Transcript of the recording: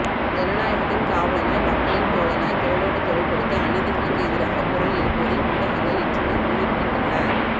ஜனநாயகத்தின் காவலனாய் மக்களின் தோழனாய் தோளோடு தோள் கொடுத்து அநீதிகளுக்கு எதிராக குரல் எழுப்புவதில் ஊடகங்கள் என்றுமே முன்னிற்கின்றன